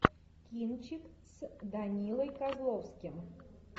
кинчик с данилой козловским